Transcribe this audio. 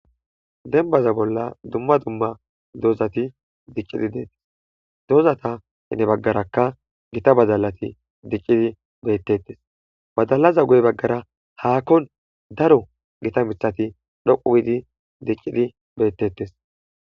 Denbaza bolla dumma dumma doozati dicqidi deettes doozata ene baggarakka gita badalati dicqidi beettettes badalaza goy baggara haakkon daro gita mithati dhoquwiidi diqqidi beettettes.